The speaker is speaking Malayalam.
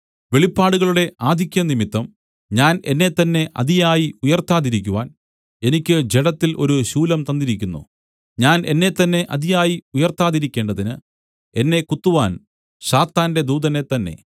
വെളിപ്പാടുകളുടെ ആധിക്യം നിമിത്തം ഞാൻ എന്നെത്തന്നെ അതിയായി ഉയർത്താതിരിക്കുവാൻ എനിക്ക് ജഡത്തിൽ ഒരു ശൂലം തന്നിരിക്കുന്നു ഞാൻ എന്നെത്തന്നെ അതിയായി ഉയർത്താതിരിക്കേണ്ടതിന് എന്നെ കുത്തുവാൻ സാത്താന്റെ ദൂതനെ തന്നെ